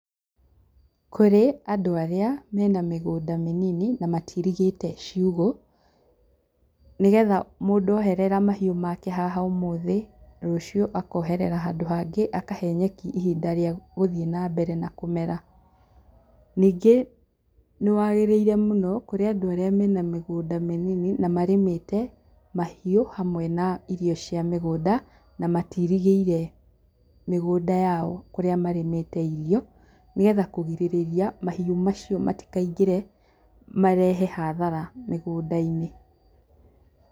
Kũrĩ andũ arĩa mena mĩgũnda mĩnini na matiirigĩte ciũgũ, nĩgetha mũndũ oherera mahiũ make haha ũmũthĩ, rũciũ akoherera handũ hangĩ, akahe nyeki ihinda rĩa gũthiĩ na mbere na kũmera. Ningĩ nĩ wagĩrĩire mũno, kũrĩ andũ arĩa mena mĩgũnda mĩnini na marĩmĩte, mahiũ, hamwe na irio cia mĩgũnda, na matiirigĩire mĩgũnda yao kũrĩa marĩmĩte irio nĩgetha kũgirĩrĩria mahiũ macio matikaingĩre marehe hathara mĩgũnda-inĩ.